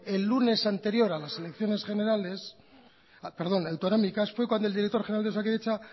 el lunes anterior a las elecciones autonómicas fue cuando el director general de osakidetza